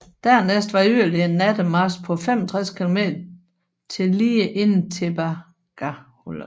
Dernæst var yderligere en nattemarch på 65 km til lige inden Tebaga hullet